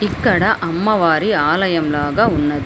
ఇక్కడ అమ్మవారి ఆలయం లాగా ఉన్న --